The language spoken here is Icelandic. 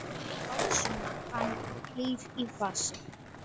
básúnar hann, hlýr í fasi.